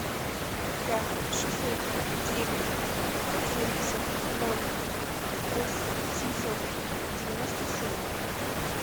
пять шестьсот девять семьдесят ноль восемь семьсот девяносто семь